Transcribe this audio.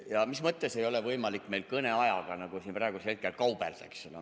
Ja mis mõttes ei ole meil võimalik siin praegu kõneajaga kaubelda?